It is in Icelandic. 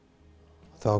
þá